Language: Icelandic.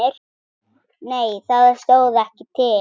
Nei það stóð ekki til.